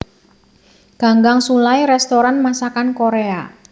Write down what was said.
Ganggang Sullai restoran masakan Korea